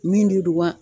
Min de don wa